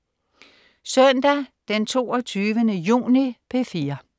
Søndag den 22. juni - P4: